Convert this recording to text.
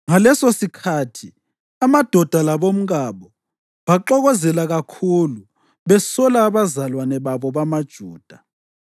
Ngalesosikhathi amadoda labomkabo baxokozela kakhulu besola abazalwane babo bamaJuda.